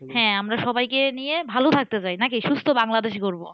হ্যাঁ আমরা সবাইকে নিয়ে ভালো থাকতে চাই নাকি? সুস্থ বাংলাদেশ গড়বো।